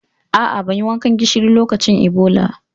A'a, ban yi wankan gishiri lokacin Ebola.